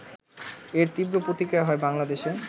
এর তীব্র প্রতিক্রিয়া হয় বাংলাদেশে